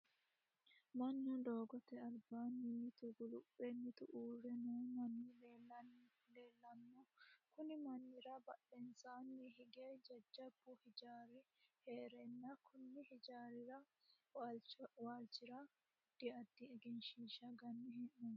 Manu doogote albaanni mitu guluphe mitu uure noo manni leelano konni mannira badhensaanni hige jajabu hijaari heeranna konni hijaari waalchira addi addi egenshiisha ganne hee'noonni.